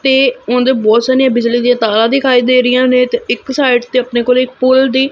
ਤੇ ਉਹਦੇ ਬਹੁਤ ਸਾਰੀਆਂ ਬਿਜ਼ਲੀ ਦੀਆਂ ਤਾਰਾਂ ਦਿਖਾਈ ਦੇ ਰਹੀਆਂ ਨੇ ਤੇ ਇੱਕ ਸਾਈਡ ਤੇ ਆਪਣੇ ਕੋਲ ਇੱਕ ਪੁੱਲ ਦੀ- -